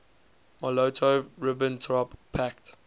molotov ribbentrop pact